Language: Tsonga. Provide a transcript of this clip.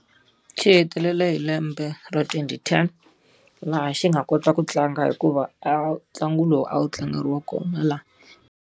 Xi hetelele hi lembe ra twenty ten, laha xi nga kota ku tlanga hikuva a ntlangu lowu a wu tlangeriwa kona laha.